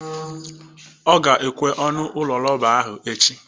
Ọ ga-ekwe ọnụ ụlọ rọba ahụ echi